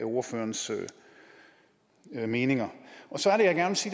ordførerens meninger så er det